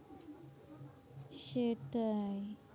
সেটাই,